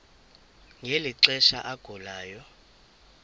ngeli xesha agulayo